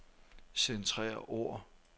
Centrer ord.